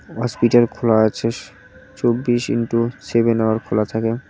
Hospital খোলা আছে চব্বিশ ইনটু সেভেন আওয়ার খোলা থাকে।